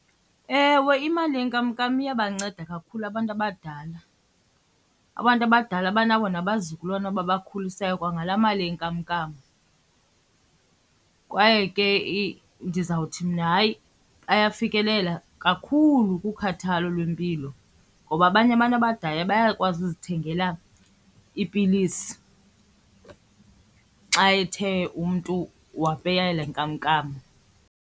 Ewe, imali yenkamnkam iyabanceda kakhulu abantu abadala. Abantu abadala banabo nabazukulwana ababakhulisayo kwangalaa mali yenkamnkam. Kwaye ke ndizawuthi mna hayi, bayafikelela kakhulu kukhathalo lwempilo ngoba abanye abantu abadala bayakwazi uzithengela iipilisi xa ethe umntu wapeya le nkamnkam.